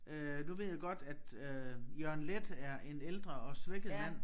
Øh nu ved jeg godt at øh Jørgen Leth er en ældre og svækket mand